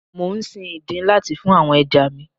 Mò ń sin ìdin láti fún àwọn ẹja mi.